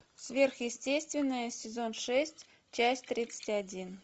сверхъестественное сезон шесть часть тридцать один